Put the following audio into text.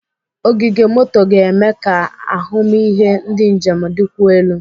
Ogige moto ga-eme ka ahụmịhe ndị njem dịkwuo elu.